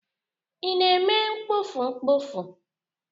Ị na-eme kpọfụ kpọfụ?